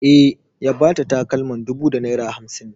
E, ya ba ta takalman dubu da naira hamsin.